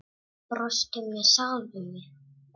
Ég brosti með sjálfri mér.